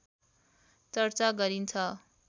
चर्चा गरिन्छ